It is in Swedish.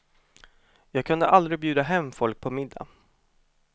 Jag kunde aldrig bjuda hem folk på middag.